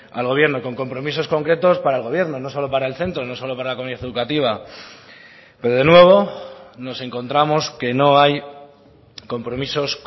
al gobierno con compromisos concretos para el gobierno no solo para el centro no solo para la comunidad educativa pero de nuevo nos encontramos que no hay compromisos